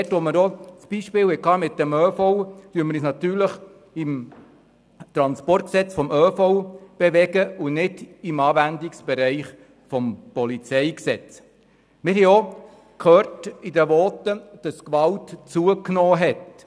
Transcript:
Beim Beispiel mit dem öffentlichen Verkehr (ÖV) bewegen wir uns natürlich im Transportgesetz des ÖV und nicht im Anwendungsbereich des PolG. Wir haben in den Voten auch gehört, dass die Gewalt zugenommen habe.